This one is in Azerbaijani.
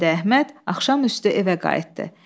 Məşədi Əhməd axşamüstü evə qayıtdı.